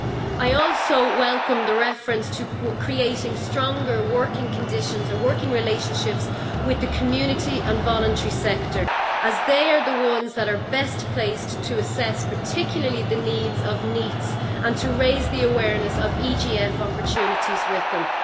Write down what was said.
I also welcome the reference to creating stronger working conditions and working relationships with the community and voluntary sector, as they are the ones that are best placed to assess, particularly, the needs of NEETs, and to raise the awareness of EGF opportunities with them.